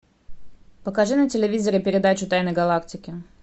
покажи на телевизоре передачу тайны галактики